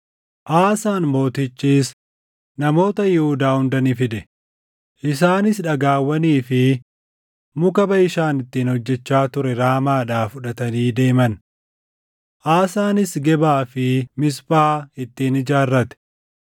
Aasaan Mootichis namoota Yihuudaa hunda ni fide; isaanis dhagaawwanii fi muka Baʼishaan ittiin hojjechaa ture Raamaadhaa fudhatanii deeman. Aasaanis Gebaa fi Miisphaa ittiin ijaarrate.